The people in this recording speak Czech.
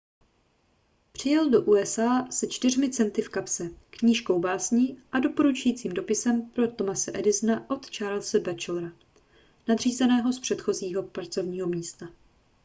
přijel do usa se 4 centy v kapse knížkou básní a doporučujícím dopisem pro thomase edisona od charlese batchelora nadřízeného z předchozího pracovního místa